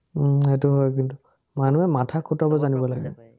উম সেটো হয় কিন্তু। মানুহে মাথা খটুৱাব জানিব লাগে